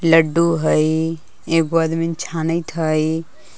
लड्डू है एगो आदमी छानैत हइ।